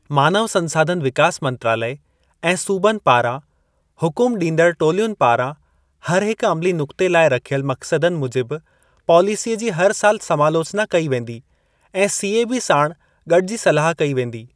मानव संसाधन विकास मंत्रालय ऐं सूबनि पारा हुकुम ॾींदड़ टोलियुनि पारा हर हिक अमली नुक्ते लाइ रखियल मक़्सदनि मूजिबु पॉलिसीअ जी हर साल समालोचना कई वेंदी ऐं, सीएबी साणु गॾिजी सलाह कई वेंदी।